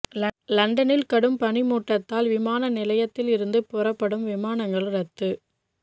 லண்டனில் கடும் பனி மூட்டத்தால் விமான நிலையத்திலிருந்து புறப்படும் விமானங்கள் ரத்து